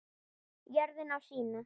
Jörðin á sína.